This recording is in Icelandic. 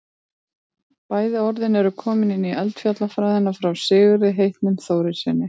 bæði orðin eru komin inn í eldfjallafræðina frá sigurði heitnum þórarinssyni